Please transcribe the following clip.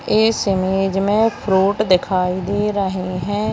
इस इमेज में फ्रूट दिखाई दे रहे है।